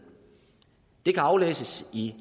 det kan aflæses i